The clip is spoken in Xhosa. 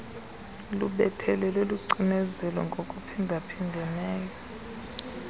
lubethelele lucinezele ngokuphindaphindeneyo